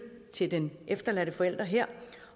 til den efterladte forælder her